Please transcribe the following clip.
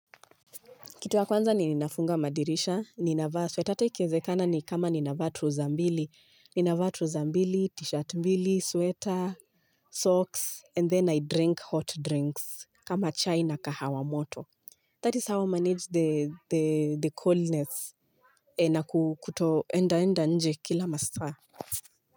Kitu ya kwanza ni ninafunga madirisha, ninavaa sweta ata ikiwezekana ni kama ninavaa trouser mbili. Ninawaa trouser mbili, t-shirt mbili, sweta, socks, and then I drink hot drinks kama chai na kahawa moto. That is how I manage the coldness na kutoenda enda nje kila masaa.